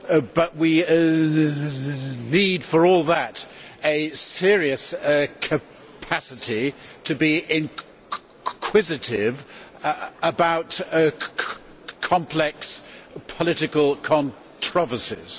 but we need for all that a serious capacity to be inquisitive about complex political controversies.